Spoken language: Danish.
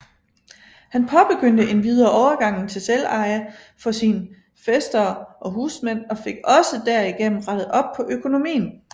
Han påbegyndte endvidere overgangen til selveje for sin fæstere og husmænd og fik også derigennem rettet op på økonomien